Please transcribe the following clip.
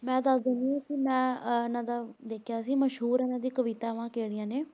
ਮੈਂ ਦੱਸ ਦਿੰਦੀ ਹਾਂ ਕਿ ਮੈਂ ਅਹ ਇਹਨਾਂ ਦਾ ਦੇਖਿਆ ਸੀ ਮਸ਼ਹੂਰ ਇਹਨਾਂ ਦੀ ਕਵਿਤਾਵਾਂ ਕਿਹੜੀਆਂ ਨੇ।